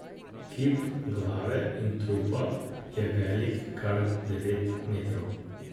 Kip glave in trupa je velik kar devet metrov.